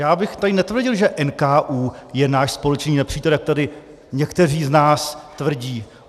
Já bych tady netvrdil, že NKÚ je náš společný nepřítel, jak tady někteří z nás tvrdí.